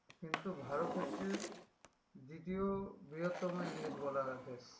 কিন্তু ভারত হচ্ছে দ্বিতীয় বৃহত্তম english বলা হয়